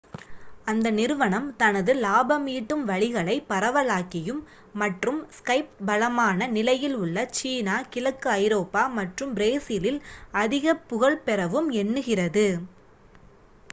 அந்த நிறுவனம் தனது லாபம் ஈட்டும் வழிகளை பரவலாக்கியும் மற்றும் ஸ்கைப் பலமான நிலையில் உள்ள சீனா கிழக்கு ஐரோப்பா மற்றும் பிரேசிலில் அதிகப் புகழ் பெறவும் எண்ணுகிறது